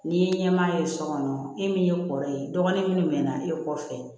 N'i ye ɲɛmaaya ye sɔ kɔnɔ e min ye kɔrɔlen dɔgɔnin min na e kɔfɛ